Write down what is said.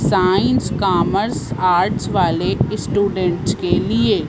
science commerce art वाले students के लिए--